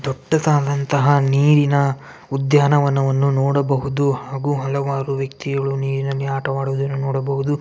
ದೊಡ್ಡದಾದಂತಹ ನೀರಿನ ಉದ್ಯಾನವನ್ನು ನೋಡಬಹುದು ಹಾಗು ಹಲವಾರು ವ್ಯಕ್ತಿಗಳು ನೀರಿನಲ್ಲಿ ಆಟವಾಡುವುದನ್ನು ನೋಡಬಹುದು.